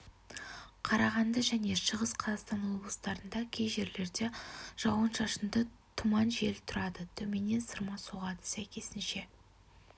қарағанды және шығыс қазақстан облыстарында кей жерлерде жауын-шашынды тұман жел тұрады төменнен сырма соғады сәйкесінше